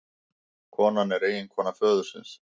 Konan er eiginkona föðursins